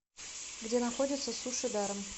где находится суши даром